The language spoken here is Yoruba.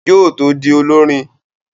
Yóò tó di olọ́rin